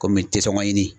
Kɔmi tɛ sɔn ɲini